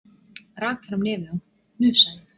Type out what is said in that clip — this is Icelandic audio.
Rak fram nefið og hnusaði.